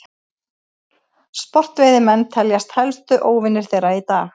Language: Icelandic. sportveiðimenn teljast helstu óvinir þeirra í dag